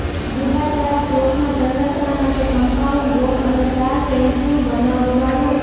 ગુડા દ્વારા પ્લોટના સંરક્ષણ માટે કમ્પાઉન્ડ વોલ અને તાર ફેન્સિંગ બનાવવા રૂ